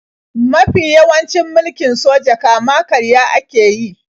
Mafi yawancin mulkin soja kama-karya ake yi.